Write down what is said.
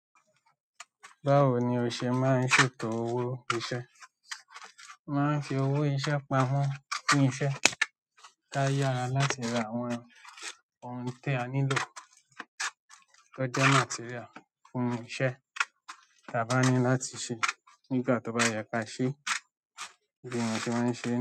Báwo ni o ṣe máa ń ṣètò owó iṣẹ́? Mo máa ń fi owó iṣẹ́ pa mon fún iṣẹ́ ká yára láti ra àwọn ohun tí a nílò tó jẹ́ material fún iṣẹ́. Tàbáni láti ṣe nígbà tó bá ye ka se bí wọ́n ṣe máa ń ṣe.